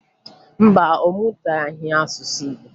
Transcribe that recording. Mba, ọ mụtaghị asụsụ Igbo